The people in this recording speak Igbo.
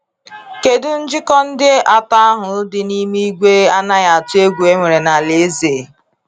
Kedu njikọ ndị atọ ahụ dị n’ime igwe anaghị atụ egwu enwere na alaeze?